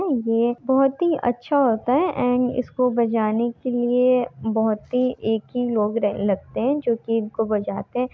ये बहुत ही अच्छा होता हैएण्ड इसको बजाने के लिए बहुत ही एक ही लोग रे लगते हैजोकी इनको बजाते।